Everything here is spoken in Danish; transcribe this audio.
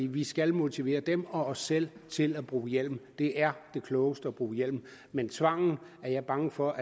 vi skal motivere dem og os selv til at bruge hjelm det er det klogeste at bruge hjelm men tvangen er jeg bange for